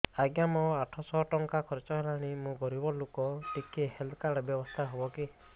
ଆଜ୍ଞା ମୋ ଆଠ ସହ ଟଙ୍କା ଖର୍ଚ୍ଚ ହେଲାଣି ମୁଁ ଗରିବ ଲୁକ ଟିକେ ହେଲ୍ଥ କାର୍ଡ ବ୍ୟବସ୍ଥା ହବ କି